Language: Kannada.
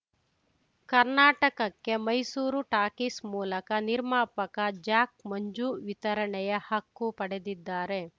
ಕರ್ನಾಟಕಕ್ಕೆ ಮೈಸೂರು ಟಾಕೀಸ್‌ ಮೂಲಕ ನಿರ್ಮಾಪಕ ಜಾಕ್‌ ಮಂಜು ವಿತರಣೆಯ ಹಕ್ಕು ಪಡೆದಿದ್ದಾರೆ